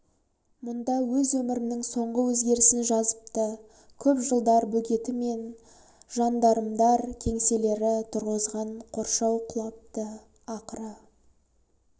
мұнда өз өмірінің соңғы өзгерісін жазыпты көп жылдар бөгеті мен жандармдар кеңселері тұрғызған қоршау құлапты ақыры